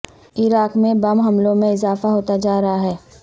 عراق میں بم حملوں میں اضافہ ہوتا جا رہا ہے